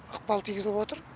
ықпал тигізіп отыр